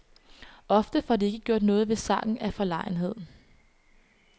Ofte får de ikke gjort noget ved sagen af forlegenhed.